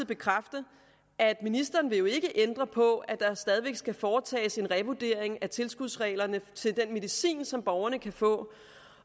bekræfte at ministeren ikke vil ændre på at der stadig væk skal foretages en revurdering af tilskudsreglerne til den medicin som borgerne kan få